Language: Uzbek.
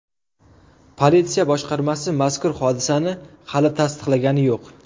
Politsiya boshqarmasi mazkur hodisani hali tasdiqlagani yo‘q.